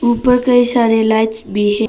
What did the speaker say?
ऊपर कई सारे लाइट्स भी है।